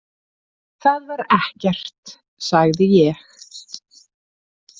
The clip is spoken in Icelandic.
Það var ekkert, sagði ég.